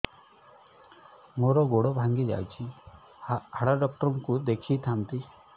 ମୋର ଗୋଡ ଭାଙ୍ଗି ଯାଇଛି ହାଡ ଡକ୍ଟର ଙ୍କୁ ଦେଖେଇ ଥାନ୍ତି